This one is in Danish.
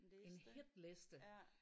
En liste